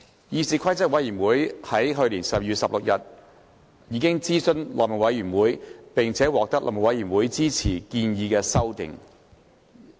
議事規則委員會於去年12月16日諮詢內務委員會，並獲內務委員會支持建議的修訂。